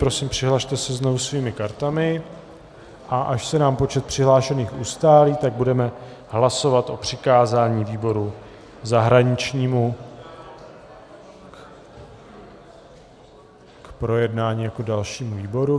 Prosím, přihlaste se znovu svými kartami, a až se nám počet přihlášených ustálí, tak budeme hlasovat o přikázání výboru zahraničnímu k projednání jako dalšímu výboru.